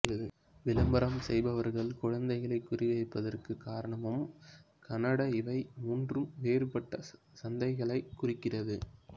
விளம்பரம் செய்பவர்கள் குழந்தைகளைக் குறி வைப்பதற்குக் காரணம் உம் கனடா இவை மூன்று வேறுபட்ட சந்தைகளைக் குறிக்கிறது